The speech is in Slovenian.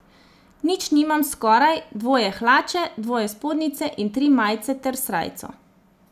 Nič nimam skoraj, dvoje hlače, dvoje spodnjice in tri majice ter srajco.